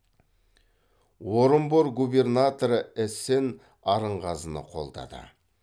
орынбор губернаторы эссен арынғазыны қолдады